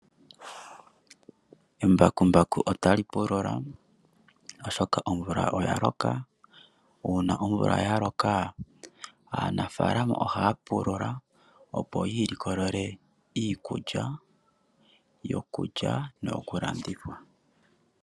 Embakumbaku otali pulula oshoka omvula oya loka, uuna omvula yaloka aanafaalama ohaa pulula opo yiilikolele iikulya yokulya noyo ku landitha.